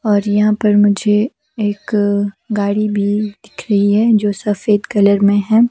और यहां पर मुझे एक गाड़ी भी दिख रही है जो सफेद कलर में है।